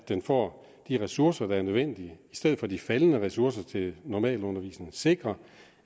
den får de ressourcer der er nødvendige i stedet for at give færre ressourcer til normalundervisningen sikre